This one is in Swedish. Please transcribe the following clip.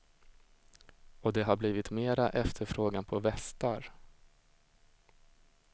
Och det har blivit mera efterfrågan på västar.